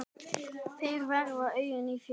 Þeir verða augun í þér.